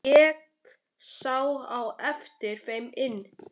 Ég sá á eftir þeim inn.